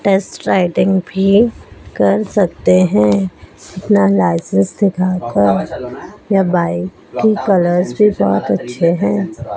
Test riding भी कर सकते हैं अपना लाइसेंस दिखाकर यह बाइक की कलर्स भी बहोत अच्छे है।